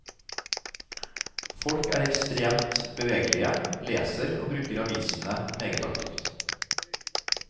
Folk er ekstremt bevegelige, leser og bruker avisene meget aktivt.